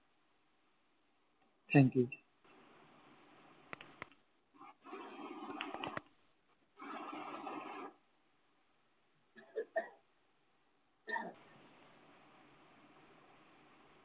Thank you